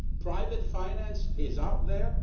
Private finance is out there